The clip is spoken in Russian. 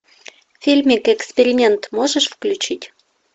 фильмик эксперимент можешь включить